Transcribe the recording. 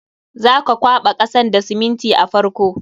Za ka kwaɓa kasan da siminti a farko.